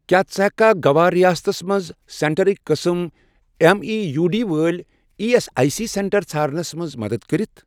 کیٛاہ ژٕ ہیٚککھا گَوا ریاستس مَنٛز سینٹرٕک قٕسم ایٚم ای یوٗ ڈی وٲلۍ E S I C centre ژھارنَس مَنٛز مدد کٔرِتھ؟